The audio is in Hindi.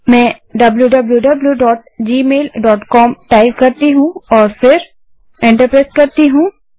मैं wwwgmailcom टाइप करती हूँ